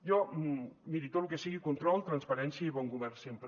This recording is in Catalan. jo miri tot lo que sigui control transparència i bon govern sempre